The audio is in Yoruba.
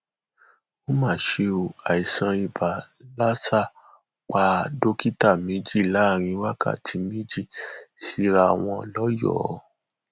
ó mà ṣe o àìsàn ibà láṣà pa dókítà méjì láàrin wákàtí méjì síra wọn lọyọọ